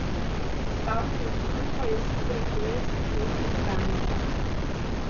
Nastavljanje strupa je sicer v slovenskih mestih stalnica.